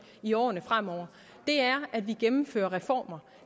i årene fremover er at vi gennemfører reformer